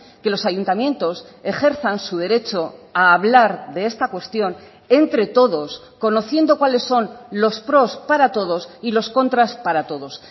que los ayuntamientos ejerzan su derecho a hablar de esta cuestión entre todos conociendo cuales son los pros para todos y los contras para todos